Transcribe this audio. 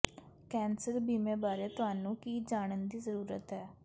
cancer ਬੀਮੇ ਬਾਰੇ ਤੁਹਾਨੂੰ ਕੀ ਜਾਣਨ ਦੀ ਜ਼ਰੂਰਤ ਹੈ